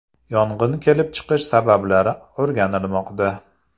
Yong‘in kelib chiqish sabablari o‘rganilmoqda.